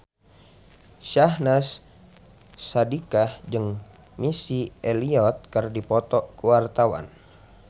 Syahnaz Sadiqah jeung Missy Elliott keur dipoto ku wartawan